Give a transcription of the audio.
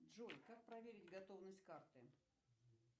джой как проверить готовность карты